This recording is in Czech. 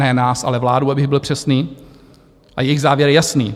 Ne nás, ale vládu, abych byl přesný, a jejich závěr je jasný.